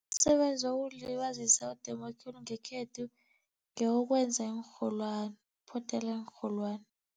Umsebenzi wokuzilibazisa odume khulu ngekhethu, ngewokwenza iinrholwani phothela iinrholwani.